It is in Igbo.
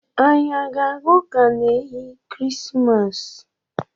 Anyị ga-aga ụ̣ka n’ehi kirisimasa?